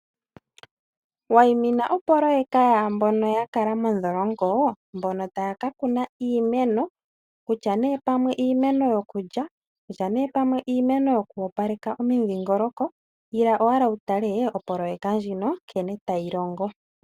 Wayimina opoyeka yaambono yakala mondholongo mbono taya kakuna iimeno.,Kutya nee pamwe iimeno yokulya ,kutya nee pamwe iimeno yoku opaleka omudhingoloko ila owala wutale opoyeka ndjino nkene tayi longo.